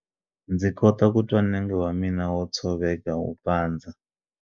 Ndzi kota ku twa nenge wa mina wo tshoveka wu pandza.